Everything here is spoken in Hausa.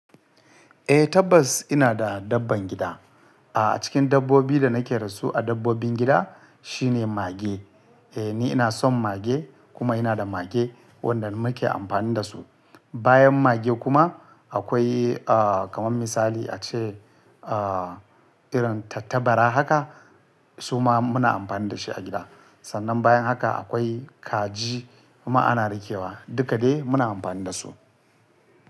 Eh tabbas ina da dabban gida. A cikin dabbobi da nake dasu a dabbobin gida shine mage. Eh ni ina son mage kuma ina da mage wanda muke amfani da su. Bayan mage kuma akwai ah kamar misali a ce ah irin tattabara haka suma muna amfani da shi a gida. Sannan bayan haka akwai kaji kuma ana rikewa duka dai muna amfani da su.